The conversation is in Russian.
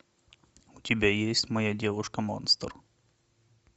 у тебя есть моя девушка монстр